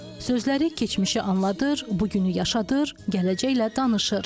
Sözləri keçmişi anladır, bugünü yaşadır, gələcəklə danışır.